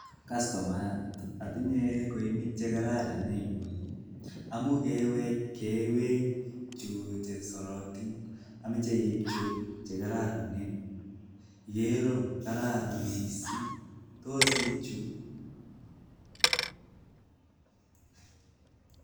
kastomayat inyee Kochi nekararan ako ameche iib Chu kororonen ak tinye alyet nekararan kokeib chu